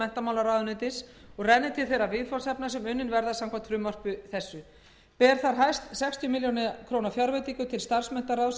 menntamálaráðuneytis og renni til þeirra viðfangsefna sem unnin verða samkvæmt frumvarpi þessi ber þar hæst sextíu ár fjárveitingu til starfsmenntaráðs